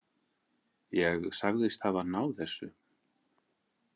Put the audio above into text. Ég sagðist hafa náð þessu.